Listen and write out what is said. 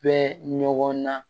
Bɛ ɲɔgɔn na